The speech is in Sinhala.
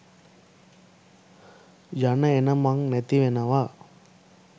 යන එන මං නැති වෙනව.